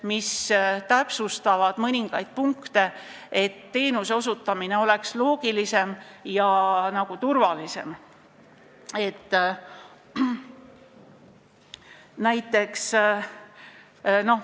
Need täpsustavad mõningaid punkte, et teenuseosutamine oleks loogilisem ja turvalisem.